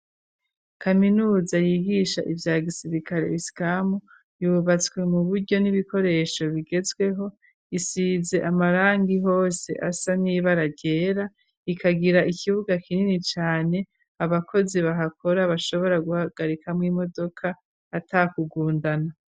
Kaminuza yigisha ivya gisirikale isikamu ,yubatswe mu buryo n'ibikoresho bigezweho, isize amarangi hose asa nibara ryera ,ikagira ikibuga kinini cane ,abakozi bahakora bashobora guhagarika mw'imodoka atakugundana.